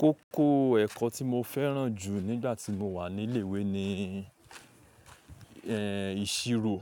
Kókó ẹ̀kọ́ tí mo fẹ́ràn jù nígbà tí mo wà ní ilé ìwé ni ìṣìrò